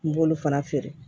N b'olu fana feere